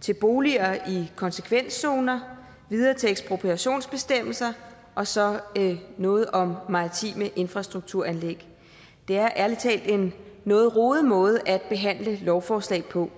til boliger i konsekvenszoner videre til ekspropriationsbestemmelser og så noget om maritime infrastrukturanlæg det er ærlig talt en noget rodet måde at behandle lovforslag på